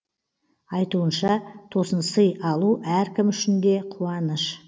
айтуынша тосынсый алу әркім үшін де қуаныш